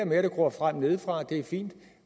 med at det gror frem nedefra er fint